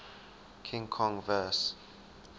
king kong vs